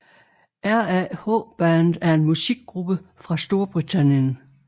RAH Band er en musikgruppe fra Storbritannien